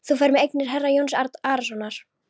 Þú ferð með eignir herra Jóns Arasonar.